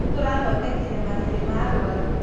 Nĩ tũrathodekire marĩrĩ ma arũaru.